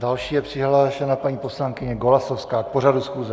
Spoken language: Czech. Další je přihlášena paní poslankyně Golasowská k pořadu schůze.